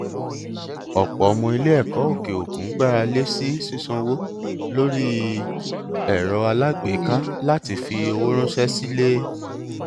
ọpọ ọmọ iléẹkọ òkè òkun gbára lé sí sísanwó lórí erò alágbèéká láti fi owó ránṣẹ sí ilé